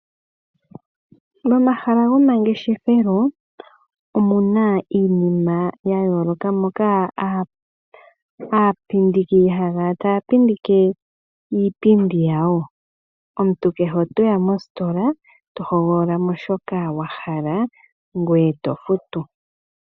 Momahala goma ngeshefelo omuna iinima ya yoloka, moka aapindiki haya kala taya pindike iipindi yawo. Omuntu kehe otoya mositola to hogolola mo shoka wa hala ngoye to futu.